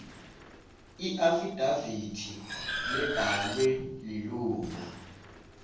iafidavithi lebhalwe lilunga